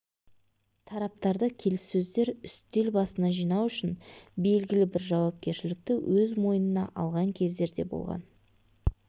тараптарды келіссөздер үстел басына жинау үшін белгілі бір жауапкершілікті өз мойнына алған кездер де болған